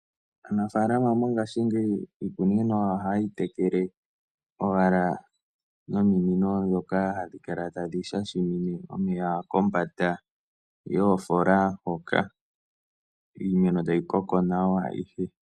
Aanafaalama mongaashingeyi iikunino ohaye yi tekele owala nominino ndhoka hadhi kala tadhi shashamine omeya kombanda yoofola hoka. Iimeno tayi koko nawa.